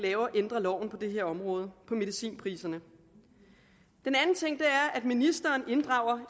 ændrer loven på det her område medicinpriserne en anden ting er at ministeren inddrager